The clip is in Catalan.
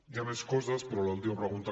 hi ha més coses però l’última pregunta